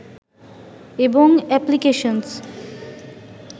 এবং এপ্লিকেশনস